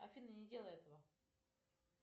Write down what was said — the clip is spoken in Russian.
афина не делай этого